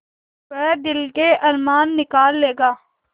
वह दिल के अरमान निकाल लेगा